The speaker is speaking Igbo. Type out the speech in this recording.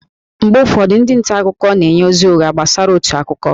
Mgbe ụfọdụ, ndị nta akụkọ na-enye ozi ụgha gbasara otu akụkọ